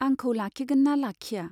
आंखौ लाखिगोनना लाखिया ?